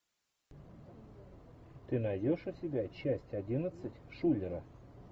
ты найдешь у себя часть одиннадцать шулера